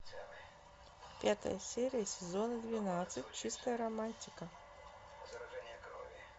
пятая серия сезона двенадцать чистая романтика